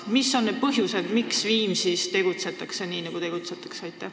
Mis on need põhjused, miks Viimsis tegutsetakse nii, nagu tegutsetakse?